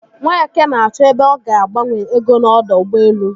Nweke na-achọ ebe ọ ga agbanwe ego n'ọdọ ụgbọelu.